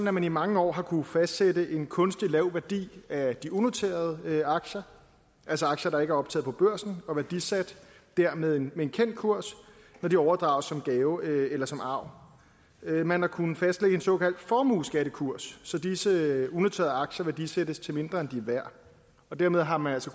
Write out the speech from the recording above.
at man i mange år har kunnet fastsætte en kunstigt lav værdi af de unoterede aktier altså aktier der ikke er optaget på børsen og værdisat dér med en kendt kurs når de overdrages som gave eller som arv man har kunnet fastlægge en såkaldt formueskattekurs så disse unoterede aktier værdisættes til mindre end de er værd og dermed har man altså